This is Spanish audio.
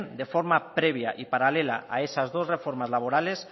de forma previa y paralela a esas dos reformas laborales